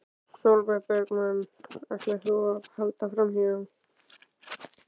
Sólveig Bergmann: Ætlar þú að halda áfram?